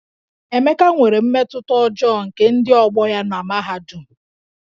Emeka nwere mmetụta ọjọọ nke ndị ọgbọ ya na mahadum